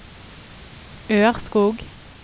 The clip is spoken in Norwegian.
Ørskog